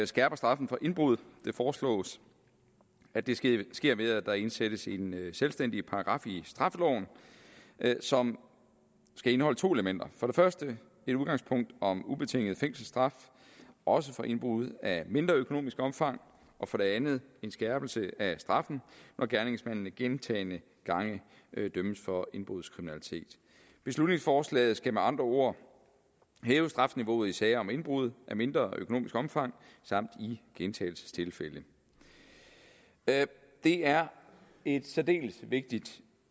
skærper straffen for indbrud det foreslås at det sker sker ved at der indsættes en selvstændig paragraf i straffeloven som skal indeholde to elementer for det første et udgangspunkt om ubetinget fængselsstraf også for indbrud af mindre økonomisk omfang og for det andet en skærpelse af straffen når gerningsmanden gentagne gange dømmes for indbrudskriminalitet beslutningsforslaget skal med andre ord hæve strafniveauet i sager om indbrud af mindre økonomisk omfang samt i gentagelsestilfælde det er et særdeles vigtigt